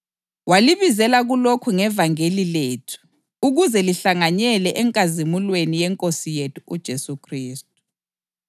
Walibizela kulokhu ngevangeli lethu ukuze lihlanganyele enkazimulweni yeNkosi yethu uJesu Khristu.